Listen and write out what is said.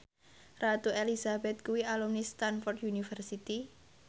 Ratu Elizabeth kuwi alumni Stamford University